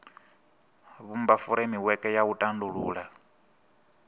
vhumba furemiweke ya u tandulula